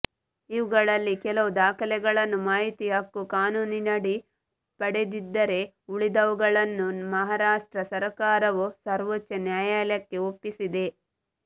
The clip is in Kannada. ಇವುಗಳಲ್ಲಿ ಕೆಲವು ದಾಖಲೆಗಳನ್ನು ಮಾಹಿತಿ ಹಕ್ಕು ಕಾನೂನಿನಡಿ ಪಡೆದಿದ್ದರೆ ಉಳಿದವುಗಳನ್ನು ಮಹಾರಾಷ್ಟ್ರ ಸರಕಾರವು ಸರ್ವೋಚ್ಚ ನ್ಯಾಯಾಲಯಕ್ಕೆ ಒಪ್ಪಿಸಿದೆ